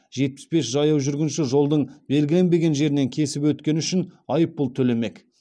жетпіс бес жаяу жүргінші жолдың белгіленбеген жерінен кесіп өткені үшін айыппұл төлемек